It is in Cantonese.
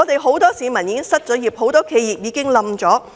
很多市民已經失業，很多企業亦已倒閉。